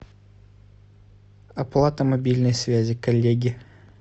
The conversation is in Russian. оплата мобильной связи коллеги